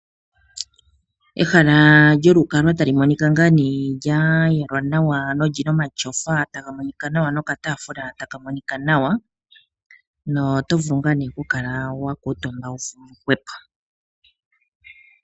Ehala lyokukalwa tali monika ngaa ne lya yalwa nawa no lina omatyofa taga monika nawa nokataafula taka monika nawa notovulu ngaa nee okukala wakuutumba wuli hwepo.